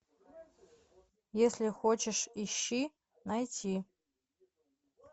если хочешь ищи найти